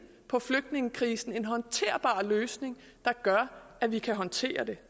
på flygtningekrisen en håndterbar løsning der gør at vi kan håndtere det